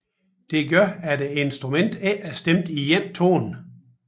Dette gør at instrumentet ikke er stemt i én tone